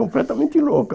Completamente louca.